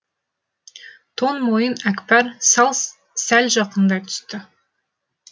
тон мойын әкпар сәл жақындай түсті